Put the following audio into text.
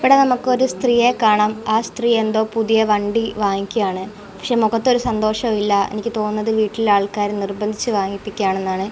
ഇവിടെ നമുക്ക് ഒരു സ്ത്രീയെ കാണാം ആ സ്ത്രീ എന്തോ പുതിയ വണ്ടി വാങ്ങിക്കുകയാണ് പക്ഷേ മുഖത്ത് ഒരു സന്തോഷവുല്ല എനിക്ക് തോന്നുന്നത് വീട്ടിലെ ആൾക്കാർ നിർബന്ധിച്ചു വാങ്ങിപ്പിക്കയാണെന്നാണ്.